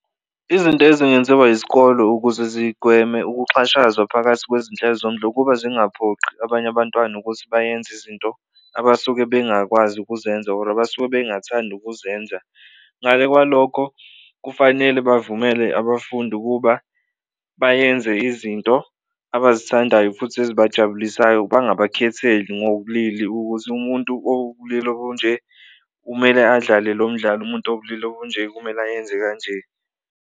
Izinto ezingenziwa izikolo ukuze zigweme ukuxhashazwa phakathi kwezinhlelo ukuba zingaphoqi abanye abantwana ukuthi bayenze izinto abasuke bengakwazi ukuzenza or abasuke bengathandi ukuzenza. Ngale kwalokho, kufanele bavumele abafundi ukuba bayenze izinto abazithandayo futhi ezibajabulisayo bangabakhetheli ngobulili ukuthi umuntu owubulili obunje kumele adlale lo mdlalo, umuntu owubulili obunje kumele ayenze kanje.